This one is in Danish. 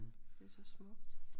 Det er så smukt